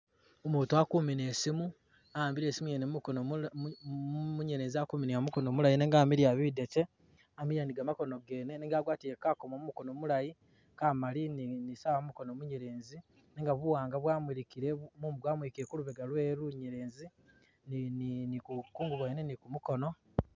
Umutu akumina isimu a'ambile isimu yene mu mukono munyelezi akuminila mu mukono mulayi nenga wamiliya bidete wamiliya ni gamakono gene nenga agwatile kakomo mu mukono mulayi kamali ni sawa ku mukono munyelezi nenga buwanga bwamulikile mumu gwamulikile ku lubega lwewe lunyelezi ni kumukono.